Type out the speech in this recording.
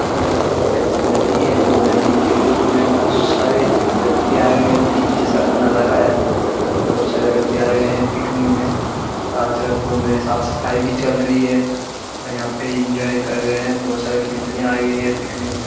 ये एक नदी है नदी के रेत में बहुत सारे व्यक्ति आए हुए हैं बिच जैसा नजारा है बहुत सारे व्यक्ति आये हुए है पिकनिक में चारो तरफ घूम रहे हैं साफ सफाई भी चल रही है और यहाँ पर एन्जॉय कर रहे हैं बहुत सारा फैमिली आये हुए हैं पिकनिक में ।